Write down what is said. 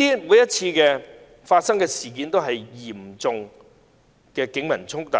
每次發生的事件也是嚴重的警民衝突，